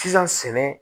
Sisan sɛnɛ